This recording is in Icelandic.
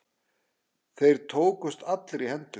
Þeir tókust allir í hendur.